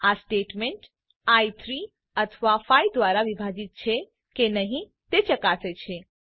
આ statement i 3 અથવા 5 દ્વારા વિભાજીત છે કે નહી તે ચકાસે છે